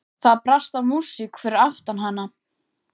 Það brast á músík fyrir aftan hana.